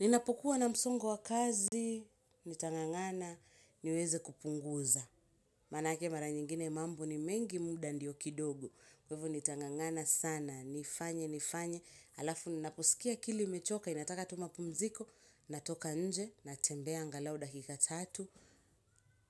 Ninapokua na msongo wa kazi, nitangangana, niweze kupunguza. Maanake mara nyingine mambo ni mengi muda ndio kidogo. Kwa hivyo, nitangangana sana, nifanye, nifanye. Halafu, ninaposikia akili imechoka, inataka tu mapumziko, natoka nje, natembea angalau dakika tatu.